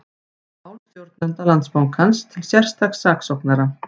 Mál stjórnenda Landsbankans til sérstaks saksóknara